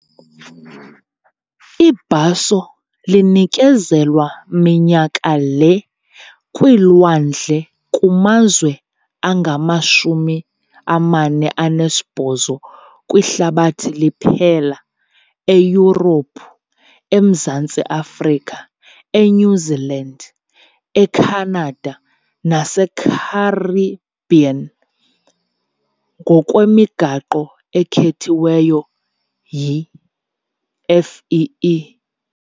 Ibhaso linikezelwa minyaka le kwiilwandle kumazwe angama-48 kwihlabathi liphela eYurophu, eMzantsi Afrika, eNew Zealand, eCanada naseCaribbean ngokwemigaqo ekhethwe yi-FEE.